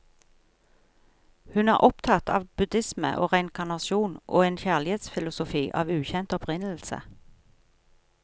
Hun er opptatt av buddhisme og reinkarnasjon, og en kjærlighetsfilosofi av ukjent opprinnelse.